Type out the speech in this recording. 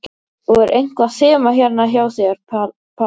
Og er eitthvað þema hérna hjá þér, Palli?